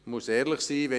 Ich muss ehrlich sein: